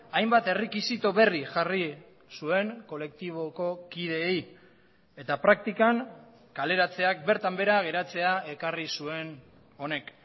hainbat errekisito berri jarri zuen kolektiboko kideei eta praktikan kaleratzeak bertan behera geratzea ekarri zuen honek